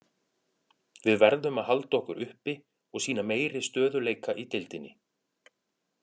Við verðum að halda okkur uppi og sýna meiri stöðugleika í deildinni.